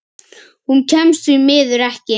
Hún kemst því miður ekki.